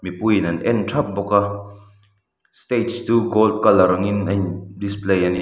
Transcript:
mipui in an en thap bawk a stage chu gold colour ang in a in display ani.